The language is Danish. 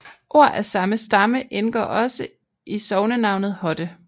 Ord af samme stamme indgår også i sognenavnet Hodde